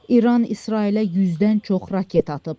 İran İsrailə 100-dən çox raket atıb.